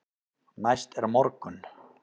Næst er morgunn.